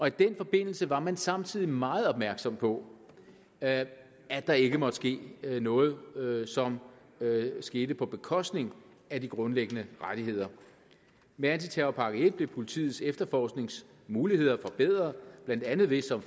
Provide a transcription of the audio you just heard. i den forbindelse var man samtidig meget opmærksom på at at der ikke måtte ske noget noget som skete på bekostning af de grundlæggende rettigheder med antiterrorpakke en blev politiets efterforskningsmuligheder forbedret blandt andet ved som